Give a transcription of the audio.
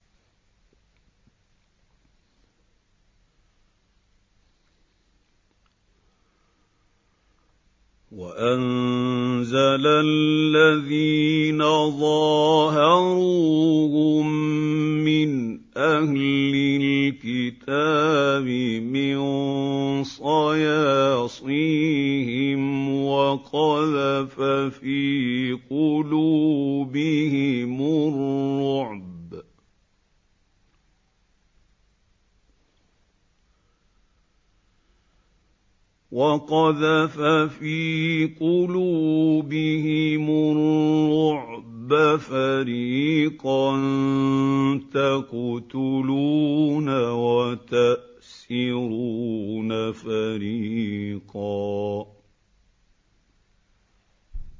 وَأَنزَلَ الَّذِينَ ظَاهَرُوهُم مِّنْ أَهْلِ الْكِتَابِ مِن صَيَاصِيهِمْ وَقَذَفَ فِي قُلُوبِهِمُ الرُّعْبَ فَرِيقًا تَقْتُلُونَ وَتَأْسِرُونَ فَرِيقًا